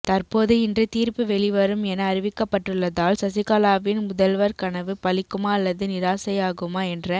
தற்போது இன்று தீர்ப்பு வெளிவரும் என அறிவிக்கப்பட்டுள்ளதால் சசிகலாவின் முதல்வர் கனவு பலிக்குமா அல்லது நிராசையாகுமா என்ற